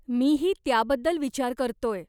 मीही त्याबद्दल विचार करतोय.